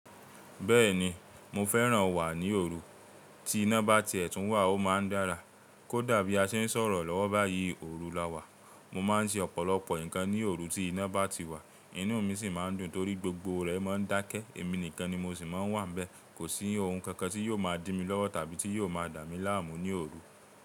Bẹ́ẹ̀ni mo fẹ́ràn wà ní òru, tí iná bá ti ètùn wà ó máa ń dára. Kódà bí a ṣe ń sọ̀rọ̀ lọ́wọ́ báyìí, òru la wà. Mo máa ń ṣe ọ̀pọ̀lọpọ̀ nǹkan ní òru tí iná bá ti wà, inú mi sì máa ń dùn torí gbogbo rẹ̀ máa ń dákẹ́. Èmi nìkan ni mo sì máa ń wà bẹ́ẹ̀. Kò sí ohun kankan tí yóò máa dí mi lọ́wọ́ tàbí tí yóò máa dà mí láàmú ní òru.